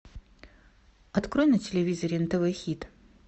открой на телевизоре нтв хит